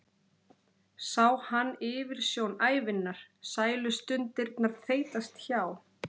Sá hann yfirsjón ævinnar, sælustundirnar þeytast hjá?